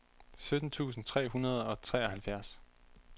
sytten tusind tre hundrede og treoghalvfjerds